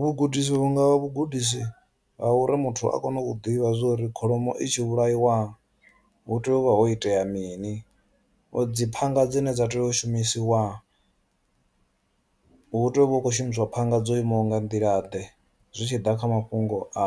Vhugudisi vhu nga vhugudisi ha uri muthu a kone u ḓivha zwa uri kholomo i tshi vhulaiwa hu tea u vha ho itea mini u dzi phanga dzine dza tea u shumisiwa hu tea u vha u khou shumiswa phanga dzo imaho nga nḓila ḓe zwi tshi ḓa kha mafhungo a